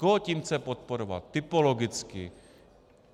Koho tím chce podporovat typologicky?